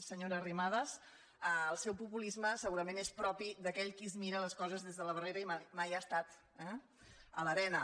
senyora arrimadas el seu populisme segurament és propi d’aquell qui es mira les coses des de la barrera i mai ha estat eh a l’arena